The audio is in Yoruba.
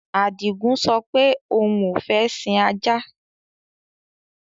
Adígun sọ pé òun ó fẹ sìn ajá.